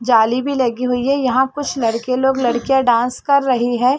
जाली भी लगी हुई है यहाँ कुछ लड़के लोग लड़कियाँ लोग डांस कर रहै है।